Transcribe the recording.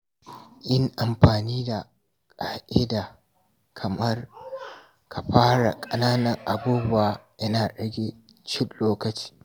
Yin amfani da ƙa’ida kamar “Ka fara da ƙananan abubuwa” yana rage cin lokaci.